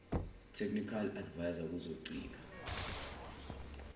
technical adviser kuzochitha